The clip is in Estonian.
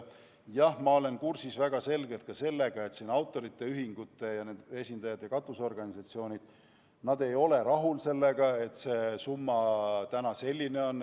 Jah, ma olen väga hästi kursis ka sellega, et autorite ühingud ja katusorganisatsioonid ei ole rahul sellega, et see summa on praegu selline.